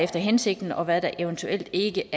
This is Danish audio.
hensigten og hvad der eventuelt ikke